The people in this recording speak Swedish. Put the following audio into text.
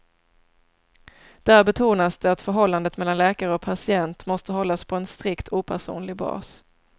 Där betonas det att förhållandet mellan läkare och patient måste hållas på en strikt opersonlig bas.